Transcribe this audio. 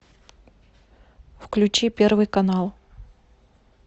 включи первый канал